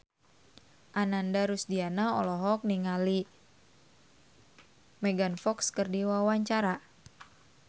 Ananda Rusdiana olohok ningali Megan Fox keur diwawancara